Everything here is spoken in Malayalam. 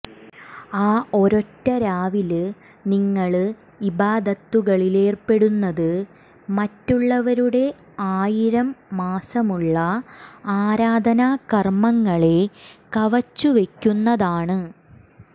ആ ഒരൊറ്റ രാവില് നിങ്ങള് ഇബാദത്തുകളിലേര്പ്പെടുന്നത് മറ്റുള്ളവരുടെ ആയിരം മാസമുള്ള ആരാധനാ കര്മങ്ങളെ കവച്ചുവെക്കുന്നതാണ്